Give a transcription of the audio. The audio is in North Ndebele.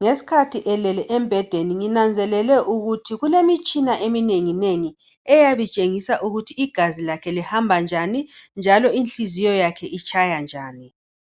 ngesikhathi elele embhedeni nginanzelele ukuthi kulemitshina eminenengi, eyabe itshengisa ukuthi igazi lakhe lihamba njani, njalo inhliziyo yakhe itshaya njani.